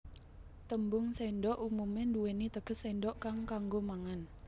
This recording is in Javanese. Tembung séndhok umumé nduwèni teges séndhok kang kanggo mangan